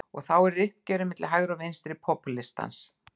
Og þá yrði uppgjörið milli hægri og vinstri popúlistans.